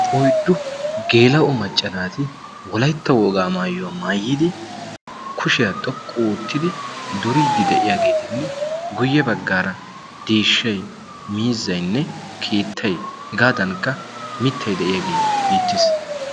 oyddu geela'o maccanaati wolaytta wogaa maayuwaa maayyidi kushiyaa xoqqu oottidi duriiddi de'iyaageetinne guyye baggaara deeshshay miizzainne kiittay hegaadankka mittay de'iyaagee beettees